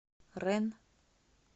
ренн